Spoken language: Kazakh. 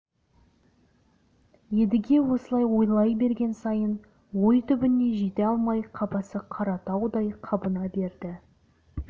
едіге осылай ойлай берген сайын ой түбіне жете алмай қапасы қаратаудай қабына берді